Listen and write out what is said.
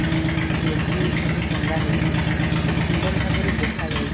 Maggi ସବୁ ଟଙ୍ଗାହେଇଛି କେତେ ସୁନ୍ଦର ଭାବରେ ଦେଖା ଯାଉଚି ।